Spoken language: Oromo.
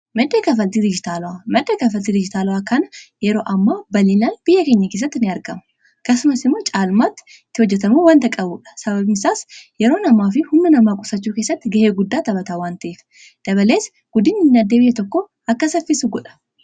Madda kaffaltii dijiitaalawwaa: Madda kaffaltii dijiitaalawwaa kana yeroo hammaa kana bal'inaan biyya keenya keessatti ni argama. Akkasumas immoo caalmaatti itti hojjetamuu wanta qabuudha. Sababni isaas yeroo namaa fi humna namaa qusachuu keessatti ga'ee guddaa taphataa waan ta'eef. Dabalees guddina dinagdee biyya tokko akka saffisu godha.